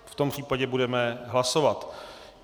V tom případě budeme hlasovat.